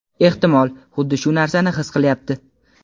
ehtimol "xuddi shu narsani his qilyapti".